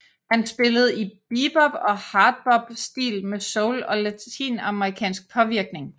Han spillede i bebop og hardbop stil med soul og latinamerikansk påvirkning